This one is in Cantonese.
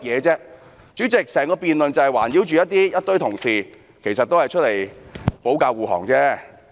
主席，在整項辯論中，某群同事其實只是在保駕護航。